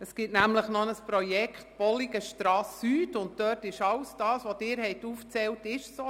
Es gibt nämlich noch ein Projekt Bolligenstrasse Süd, und dort trifft alles zu, was Sie aufgezählt haben.